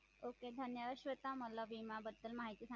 Okay धन्यवाद श्वेता मला विमा बद्दल माहिती सांगितल्याबद्दल